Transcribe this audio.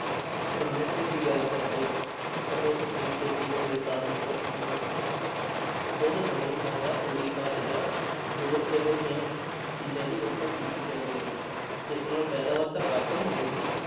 ਪੁਰਾਣੇ ਸਮੇਂ ਦੀ ਗੱਲ ਕਰਦੇ ਹਾਂ ਤਾਂ ਉਸ ਸਮੇਂ ਖੇਤੀਬਾੜੀ ਦੇ ਸਾਧਨ ਬਹੁਤ ਸੀਮਿਤ ਸੀ, ਤੇ ਉਸ ਸਮੇਂ ਜ਼ਿਆਦਾ ਰੂੜੀ ਖਾਦ ਜਾਂ ਹੋਰ ਇਹੋ ਜਿਹੀਆਂ ਚੀਜ਼ਾਂ ਦੀ ਵਰਤੋਂ ਕੀਤੀ ਜਾਂਦੀ ਸੀ ਇਸ ਨਾਲ ਪੈਦਾਵਾਰ ਤਾਂ ਘੱਟ ਹੁੰਦੀ ਸੀ